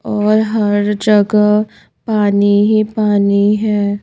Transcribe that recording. और हर जगह पानी ही पानी है.